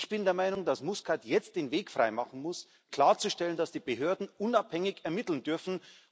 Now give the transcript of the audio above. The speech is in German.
Ich bin der Meinung, dass Muscat jetzt den Weg freimachen muss, klarzustellen, dass die Behörden unabhängig ermitteln dürfen.